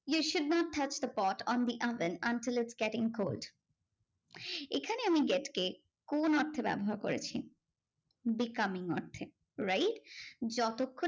You should not touch the pot on the other unless getting cold. এখানে আমি get কে কোন অর্থে ব্যবহার করেছি? becoming অর্থে, wright? যতক্ষণ